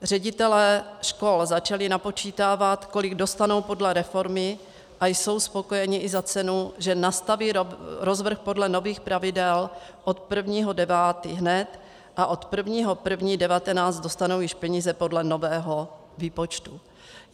Ředitelé škol začali napočítávat, kolik dostanou podle reformy, a jsou spokojeni i za cenu, že nastaví rozvrh podle nových pravidel od 1. 9. hned a od 1. 1. 2019 dostanou již peníze podle nového výpočtu.